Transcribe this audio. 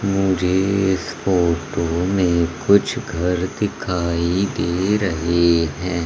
मुझे इस फोटो में कुछ घर दिखाई दे रहे हैं।